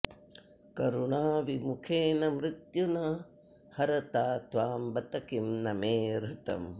करुणाविमुखेन मृत्युना हरता त्वां बत किं न मे हृतम्